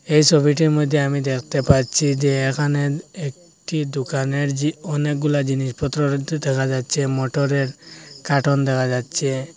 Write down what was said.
এই সোবিটির মইধ্যে আমি দেখতে পাচ্ছি যে এখানে একটি দুকানের জি অনেকগুলা জিনিসপত্র রাখতে দেখা যাচ্ছে মটরের কার্টন দেখা যাচ্ছে।